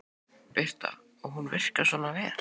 Birta: Og hún virkar svona vel?